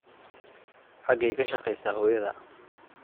Xageey ka shaqeysaa hoyadaa?